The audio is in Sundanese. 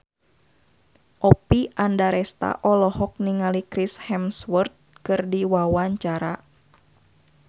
Oppie Andaresta olohok ningali Chris Hemsworth keur diwawancara